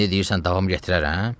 İndi deyirsən davam gətirərəm?